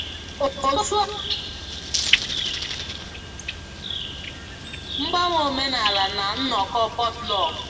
Otu a nabatara ndị otu ọhụrụ n'ime abalị ụnyaahụ mgbanwe omenala na nnọkọ potluck